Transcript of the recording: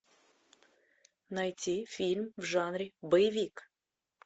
найти фильм в жанре боевик